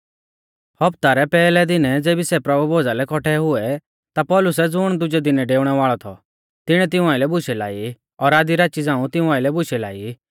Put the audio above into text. सप्ताह रै पैहलै दिनै ज़ेबी सै प्रभु भोज़ा लै कौट्ठै हुऐ ता पौलुसै ज़ुण दुजै दिनै डेउणै वाल़ौ थौ तिणीऐ तिऊं आइलै बुशै लाई और आधी राची झ़ांऊ तिऊं आइलै बुशै लाई